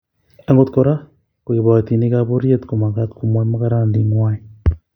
Agot Kora ko kiboitinikab pororiet komagat komwoi mogornonditngwai